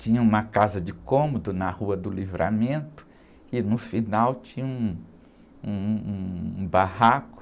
Tinha uma casa de cômodo na rua que no final tinha um, um barraco.